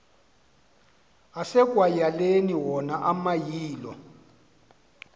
asekwayaleni wona amayilo